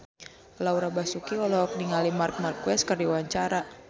Laura Basuki olohok ningali Marc Marquez keur diwawancara